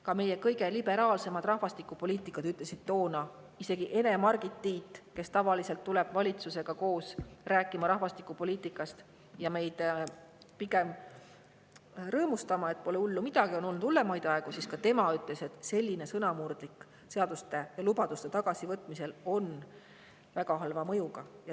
Ka meie kõige liberaalsemad rahvastikupoliitikud ütlesid toona, isegi Ene-Margit Tiit, kes tavaliselt valitsusega koos räägib rahvastikupoliitikast ja meid pigem rõõmustada, et pole hullu midagi, on olnud hullemaid aegu – temagi ütles, et selline sõnamurdlik seaduste ja lubaduste tagasivõtmine on väga halva mõjuga.